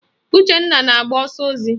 Uchenna na-agba ọsọ ozi